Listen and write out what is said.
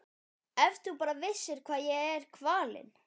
Ef þú bara vissir hvað ég er kvalinn.